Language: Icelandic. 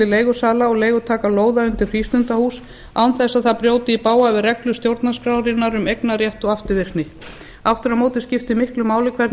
leigusala og leigutaka lóða undir frístundahús án þess að það brjóti í bága við reglur stjórnarskrárinnar um eignarrétt og afturvirkni aftur á móti skiptir miklu máli hvernig